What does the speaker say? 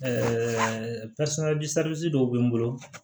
dɔw bɛ n bolo